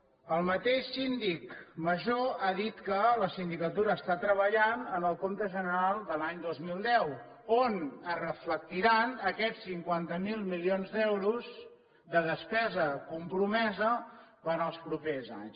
el mateix síndic major ha dit que la sindicatura està treballant en el compte general de l’any dos mil deu on es reflectiran aquests cinquanta miler milions d’euros de despesa compromesa per als propers anys